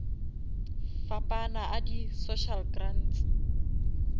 fapana a di social grants